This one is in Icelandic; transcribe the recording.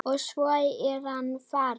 Og svo er hann farinn.